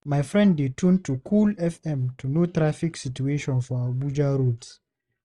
My friend dey tune to Cool FM to know traffic situation for Abuja roads.